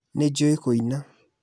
Nĩ njũĩ kũina